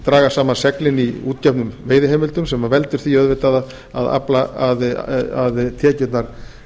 draga saman seglin í útgefnum veiðiheimildum sem veldur því auðvitað að tekjurnar